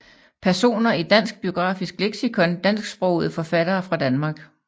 Personer i Dansk Biografisk Leksikon Dansksprogede forfattere fra Danmark